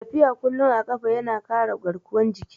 Tafiya kullum a ƙafa ya na ƙara garkuwan jiki